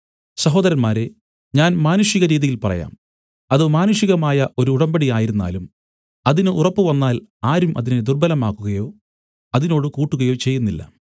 സഹോദരന്മാരേ ഞാൻ മാനുഷികരീതിയിൽ പറയാം അത് മാനുഷികമായ ഒരു ഉടമ്പടി ആയിരുന്നാലും അതിന് ഉറപ്പുവന്നാൽ ആരും അതിനെ ദുർബ്ബലമാക്കുകയോ അതിനോട് കൂട്ടുകയോ ചെയ്യുന്നില്ല